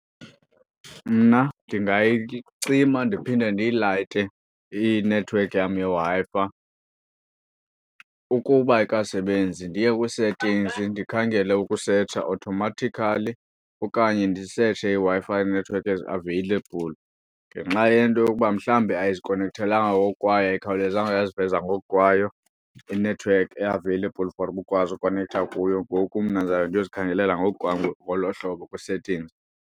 Mna ndingayicima ndiphinde ndiyilayite inethiwekhi yam yeWi-Fi. Ukuba ayikasebenzi ndiye kwii-settings ndikhangele ukusetsha automatically okanye ndisetshe iiWi-Fi nethiwekhi eziaveyilebhuli. Ngenxa yento yokuba mhlawumbi ayizikonekthelanga ngokukwayo, ayikhawulezanga yaziveza ngokukwayo inethiwekhi eaveyilebhuli for uba ukwazi ukonektha kuyo. Ngoku mna ndizawube ndiyozikhangelela ngokwam ngolo hlobo kwii-settings.